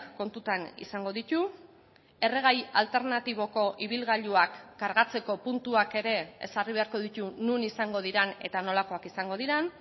kontutan izango ditu erregai alternatiboko ibilgailuak kargatzeko puntuak ere ezarri beharko ditu non izango diren eta nolakoak izango diren